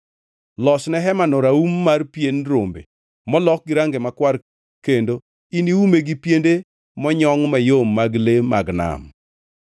Losne hemano raum mar pien rombe molok gi range makwar kendo iniume gi piende monyongʼ mayom mag le mag nam.